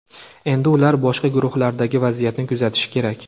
Endi ular boshqa guruhlardagi vaziyatni kuzatishi kerak.